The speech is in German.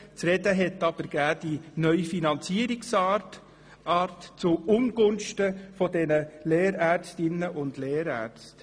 Zu sprechen gab aber die neue Finanzierungsart zu Ungunsten der Lehrärztinnen und Lehrärzte.